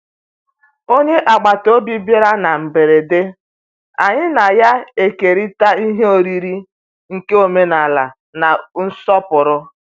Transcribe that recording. Onye agbata obi bịara na mberede, anyị na ya ekerita ihe oriri nke omenala na nsọpụrụ.